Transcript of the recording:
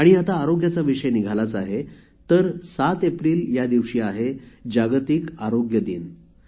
आता आरोग्याचा विषय निघालाच आहे तर 7 एप्रिल या दिवशी जागतिक आरोग्य दिन आहे